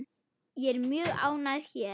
Ég er mjög ánægð hér.